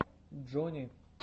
джони